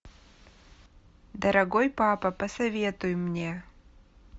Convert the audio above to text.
дорогой папа посоветуй мне